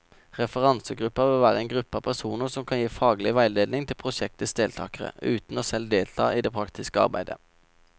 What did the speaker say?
Referansegruppen vil være en gruppe av personer som kan gi faglig veiledning til prosjektets deltagere, uten selv å delta i det praktiske arbeidet.